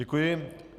Děkuji.